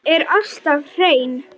Er alltaf hrein.